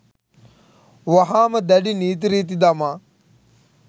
වහාම දැඩි නීති රීති දමා